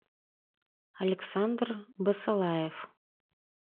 александр басалаев